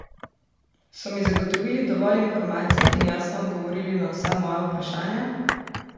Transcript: So mi zagotovili dovolj informacij in jasno odgovorili na vsa moja vprašanja?